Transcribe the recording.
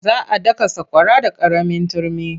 Za a daka sakwara da ƙaramin turmi.